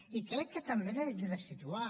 i crec que també ho he de situar